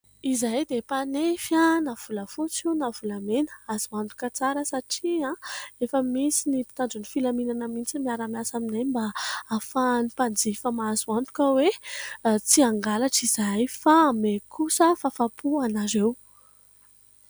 Izahay dia mpanefy volafotsy io na volamena ; azo antoka tsara satria efa misy ny mpitandron'ny filaminana mihitsy miara-miasa aminay, mba ahafahan'ny mpanjifa mahazo antoka hoe tsy hangalatra izahay fa hanome kosa fahafaham-po anareo.